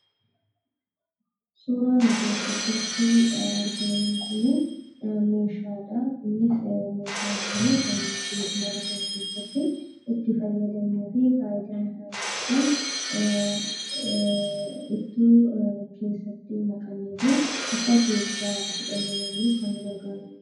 Suuraan nuti asii gaditti argaa jirru kun meeshaadha. Meeshaan kun kan mana keessatti fayyadamnuu fi ittoo keessatti naqannuu fi nyaata keessa kaa'uuf kan gargaarudha.